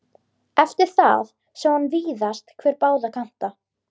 Eftir það sá hann víðast hvar báða kanta.